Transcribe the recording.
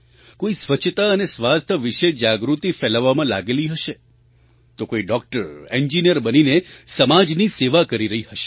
કોઈ સ્વચ્છતા અને સ્વાસ્થ્ય વિશે જાગૃતિ ફેલાવવામાં લાગેલી હશે તો કોઈ ડૉક્ટર ઍન્જિનિયર બનીને સમાજની સેવા કરી રહી હશે